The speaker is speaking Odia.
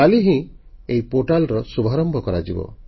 କାଲି ହିଁ ଏହି ପୋର୍ଟାଲର ଶୁଭାରମ୍ଭ କରାଯିବ